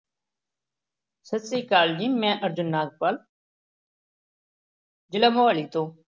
ਸਤਿ ਸ੍ਰੀ ਅਕਾਲ ਜੀ ਮੈਂ ਅਰਜੁਨ ਨਾਗਪਾਲ ਜ਼ਿਲ੍ਹਾ ਮੁਹਾਲੀ ਤੋਂ